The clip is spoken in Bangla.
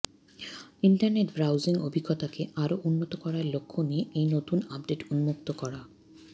ইন্টারনেট ব্রাউজিং অভিজ্ঞতাকে আরও উন্নত করার লক্ষ্য নিয়ে এই নতুন আপডেট উন্মুক্ত করা